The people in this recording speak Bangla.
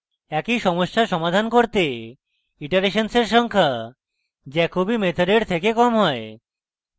একই সমস্যা সমাধান করতে ইটারেশন্সের সংখ্যা jacobi মেথডের থেকে কম হয়